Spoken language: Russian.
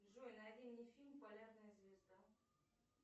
джой найди мне фильм полярная звезда